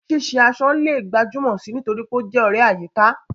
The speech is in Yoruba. Ṣíṣe aṣọ lè gbajúmọ̀ sí i nítorí pé ó jẹ́ ọ̀rẹ́ àyíká.